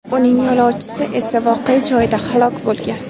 Uning yo‘lovchisi esa voqea joyida halok bo‘lgan.